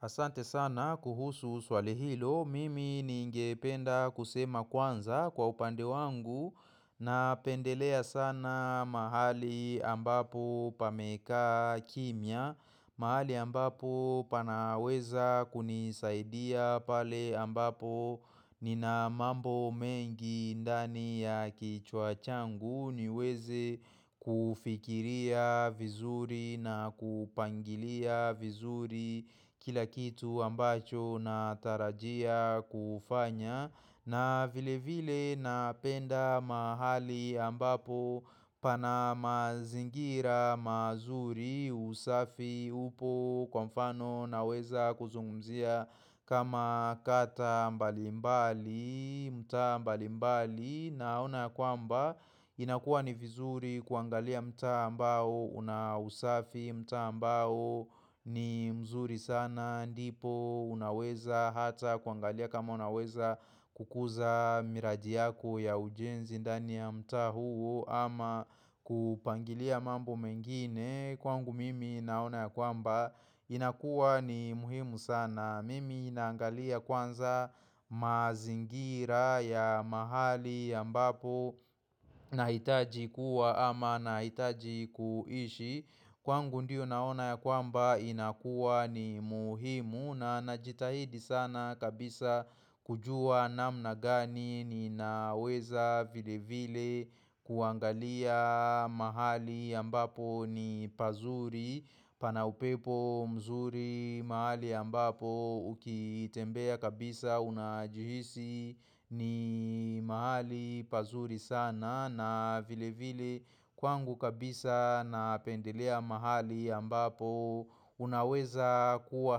Asante sana kuhusu swali hilo, mimi ningependa kusema kwanza kwa upande wangu na pendelea sana mahali ambapo pame kaa kimya, mahali ambapo panaweza kunisaidia pale ambapo nina mambo mengi ndani ya kichwa changu. Niweze kufikiria vizuri na kupangilia vizuri kila kitu ambacho na tarajia kufanya na vile vile napenda mahali ambapo pana mazingira mazuri usafi upo kwa mfano na weza kuzungumzia kama kata mbali mbali, mta mbali mbali, naona kwamba inakua ni vizuri kuangalia mtaa ambao, unausafi mtaa ambao ni mzuri sana, ndipo unaweza hata kuangalia kama unaweza kukuza miraji yako ya ujenzi ndani ya mta huo ama kupangilia mambo mengine Kwangu mimi naona ya kwamba inakuwa ni muhimu sana Mimi naangalia kwanza mazingira ya mahali ya mbapo na hitaji kuwa ama na hitaji kuishi Kwangu ndiyo naona ya kwamba inakuwa ni muhimu na najitahidi sana kabisa kujua namna gani ni naweza vile vile kuangalia mahali ambapo ni pazuri pana upepo mzuri mahali ambapo ukitembea kabisa unajihisi ni mahali pazuri sana na vile vile kwangu kabisa napendelea mahali ambapo Unaweza kuwa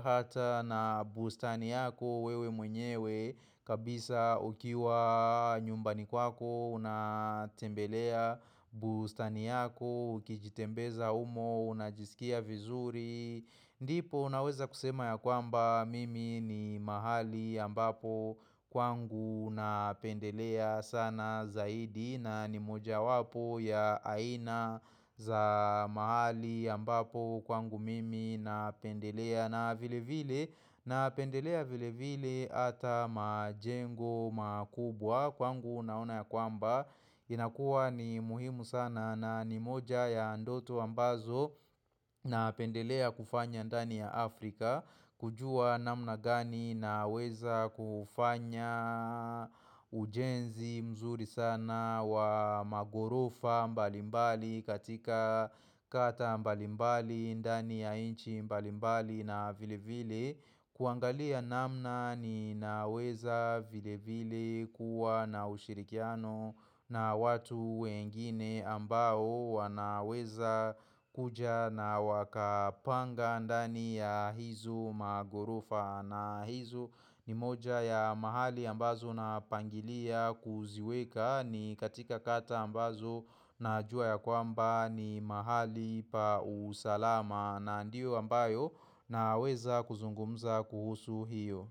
hata na bustani yako wewe mwenyewe kabisa ukiwa nyumbani kwako Unatembelea bustani yako Kijitembeza umo unajisikia vizuri ndipo unaweza kusema ya kwamba Mimi ni mahali ambapo Kwangu napendelea sana zaidi na ni moja wapo ya aina za mahali ambapo kwangu mimi napendelea na vile vile napendelea vile vile ata majengo makubwa kwangu unaona ya kwamba inakuwa ni muhimu sana na ni moja ya ndoto ambazo napendelea kufanya ndani ya Afrika kujua namna gani na weza kufanya ujenzi mzuri sana wa magorofa mbalimbali katika kata mbalimbali ndani ya inchi mbalimbali na vile vile kuangalia namna ni naweza vile vile kuwa na ushirikiano na watu wengine ambao wanaweza kuja na wakapanga ndani ya hizo magorofa na hizo ni moja ya mahali ambazo na pangilia kuziweka ni katika kata ambazo najua ya kwamba ni mahali pa usalama na ndio ambayo na weza kuzungumza kuhusu hiyo.